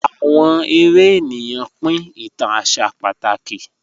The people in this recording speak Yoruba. Awọn èrè ènìyàn pín ìtàn àṣà pátákì